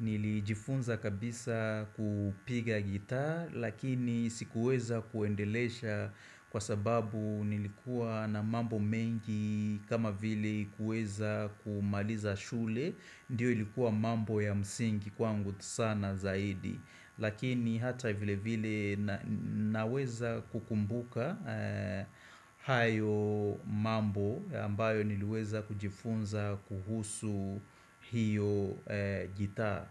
Nilijifunza kabisa kupiga gitaa lakini sikuweza kuendelesha kwa sababu nilikuwa na mambo mengi kama vile kuweza kumaliza shule, ndiyo ilikuwa mambo ya msingi kwangu sana zaidi lakini hata vile vile naweza kukumbuka hayo mambo ambayo niliweza kujifunza kuhusu hiyo gitaa.